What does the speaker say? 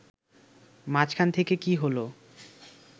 মাঝখান থেকে কী হল